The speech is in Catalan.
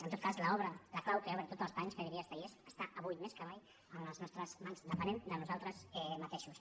en tot cas la clau que obre tots els panys que diria estellés està avui més que mai en les nostres mans depenem de nosaltres mateixos